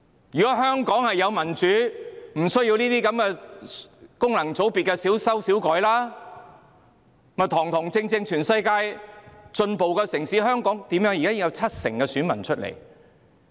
如果香港有民主，便不需要對功能界別作小修小改，而是如同全世界進步的城市般堂堂正正地選舉。